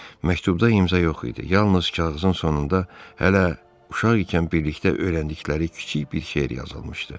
Məktubda imza yox idi, yalnız kağızın sonunda hələ uşaq ikən birlikdə öyrəndikləri kiçik bir şeir yazılmışdı.